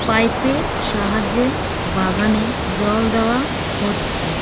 Pipe -এর সাহায্যে বাগানে জল দেওয়া হচ্ছে।